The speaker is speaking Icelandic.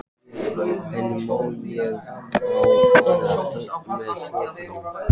En má ég þá fara einn með strákunum?